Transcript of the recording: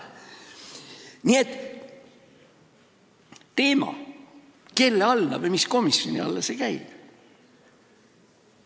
Nii et kelle või mis komisjoni alla see teema käib?